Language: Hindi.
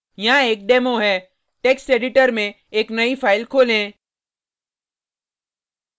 यहाँ एक डेमो है टेक्स्ट एडिटर में एक नई फाइल खोलें